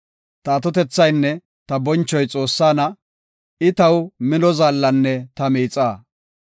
Ta atotethaynne ta bonchoy Xoossana; I ta mino zaallanne ta miixaa.